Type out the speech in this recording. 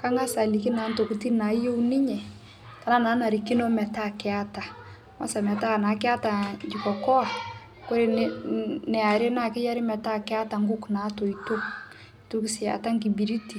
Kangas aliki naa ntokitin naayeu ninye tenaa naanarikino metaa keata. Kwansa naa metaa keata jiko koa, kore neare naa keyari metaa keata nkuk naatoito, neitoki sii aata nkibiriti